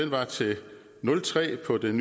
var til tre på den